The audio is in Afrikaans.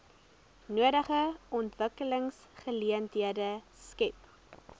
nodige ontwikkelingsgeleenthede skep